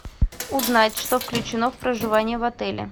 узнать что включено в проживание в отеле